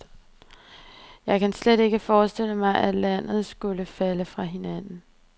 Jeg kan slet ikke forestille mig, at landet skulle falde fra hinanden.